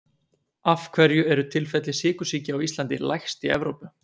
Af hverju eru tilfelli sykursýki á Íslandi lægst í Evrópu?